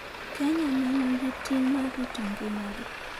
Kenya ne nigi ting' mar rito ngimagi.